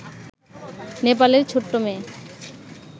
নেপালের ছোট্ট মেয়ে